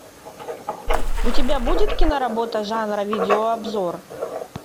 у тебя будет киноработа жанра видеообзор